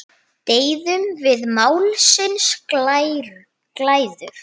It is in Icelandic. Deyðum við málsins glæður?